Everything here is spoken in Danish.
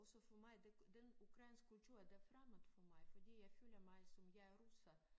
Også for mig det den ukrainske kultur der fremmed for mig fordi jeg føler mig som jeg er russer